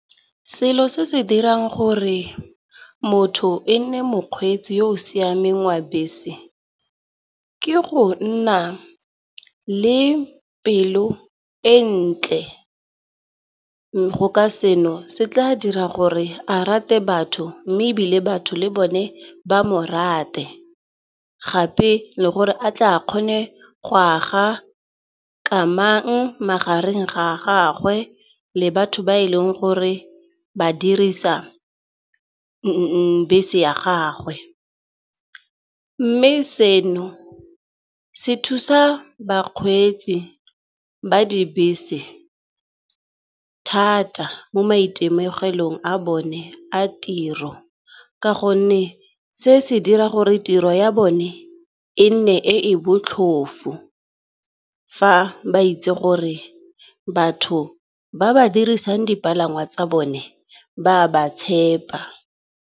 Selo se se dirang gore motho e nne mokgweetsi yo o siameng wa bese, ke go nna le pelo e ntle go ka seno se tla dira gore a rate batho mme ebile batho le bone ba mo rate. Gape le gore a tla a kgone go aga kamang magareng ga gagwe le batho ba e leng gore ba dirisa bese ya gagwe. Mme seno se thusa bakgweetsi ba dibese thata mo maitemogelong a bone a tiro ka gonne se se dira gore tiro ya bone e nne e e botlhofo, fa ba itse gore batho ba ba dirisang dipalangwa tsa bone ba ba tshepa.